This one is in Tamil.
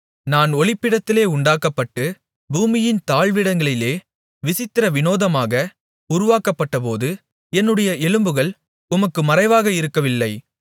நான் ஒளிப்பிடத்திலே உண்டாக்கப்பட்டு பூமியின் தாழ்விடங்களிலே விசித்திர விநோதமாக உருவாக்கப்பட்டபோது என்னுடைய எலும்புகள் உமக்கு மறைவாக இருக்கவில்லை